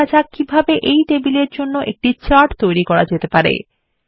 এখন শেখা যাক এই টেবিলের জন্য কিভাবে একটি চার্ট তৈরী করতে পারি